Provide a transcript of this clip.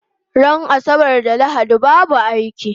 Ran asabar da lahadi babu aiki